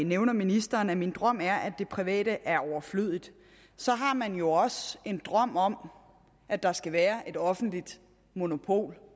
nævner ministeren min drøm er at det private er overflødigt så har man jo også en drøm om at der skal være et offentligt monopol